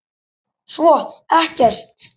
Svo ekkert.